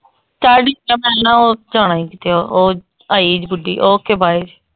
ਚੱਲ ਜਾਣਾ ਈ ਕਿਤੇ ਉਹ ਆਈ ਈ ਬੁੱਢੀ okay bye.